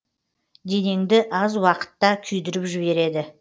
денеңді аз уақытта күйдіріп жібереді